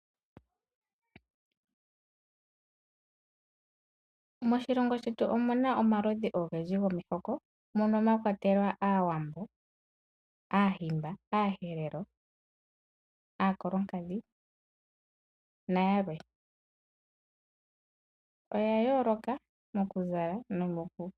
Moshilongo shetu omu na omihoko odhindji, mono mwa kwatelwa Aawambo, Aahimba, Aaherero, Aakolonkadhi nayalwe. Oya yooloka mokuzala.